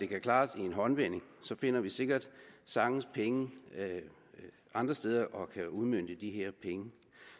kan klares i en håndevending finder vi sikkert sagtens penge andre steder og kan udmønte de her penge